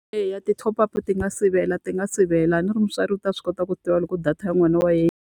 Eya ti-top up ti nga sivela ti nga sivela, a ni ri mutswari u ta swi kota ku tiva loko data ya n'wana wa yena.